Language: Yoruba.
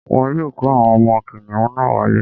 Wọ́n yóò kó àwọn ọmọ kìnìún náà wálé